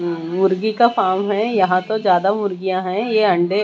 उम मुर्गी का फार्म है यहां तो ज्यादा मुर्गियां है ये अंडे--